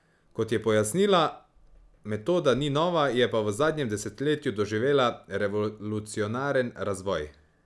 Kot je pojasnila, metoda ni nova, je pa v zadnjem desetletju doživela revolucionaren razvoj.